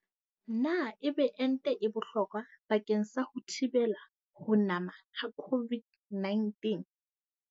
Na ebe ente e bohlokwa bakeng sa ho thibela ho nama ha COVID-19?